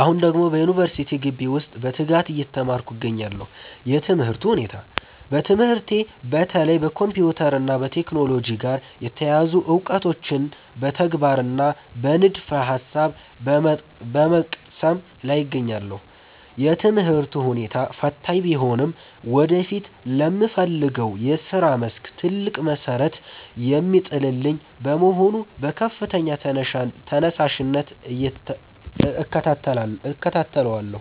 አሁን ደግሞ በዩኒቨርሲቲ ግቢ ውስጥ በትጋት እየተማርኩ እገኛለሁ። የትምህርቱ ሁኔታ፦ በትምህርቴ በተለይ ከኮምፒውተር እና ከቴክኖሎጂ ጋር የተያያዙ እውቀቶችን በተግባርና በንድፈ-ሐሳብ በመቅሰም ላይ እገኛለሁ። የትምህርቱ ሁኔታ ፈታኝ ቢሆንም ወደፊት ለምፈልገው የሥራ መስክ ትልቅ መሠረት የሚጥልልኝ በመሆኑ በከፍተኛ ተነሳሽነት እከታተለዋለሁ።